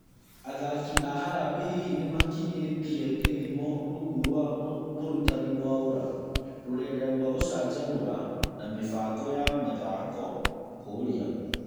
Athaki a harambee hihi nĩmakinyĩtie gĩthimo rungu rwa mũrutani Mwaũra? Rũrenda rwa gũcanjamũra na mĩbango ya mĩthako kũria .